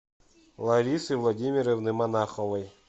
ларисы владимировны монаховой